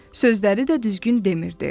Sözləri də düzgün demirdi.